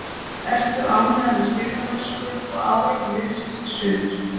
Ertu ánægður með spilamennsku og árangur liðsins í sumar?